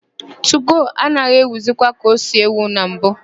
Tugo anaghị éwìzikwa ka o si éwì na mbụ.